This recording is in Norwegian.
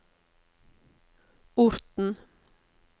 Orten